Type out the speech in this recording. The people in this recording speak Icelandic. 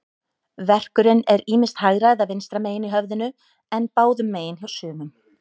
Verkurinn er ýmist hægra eða vinstra megin í höfðinu, en báðum megin hjá sumum.